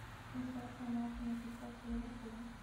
трансляция матча между челси и ливерпулем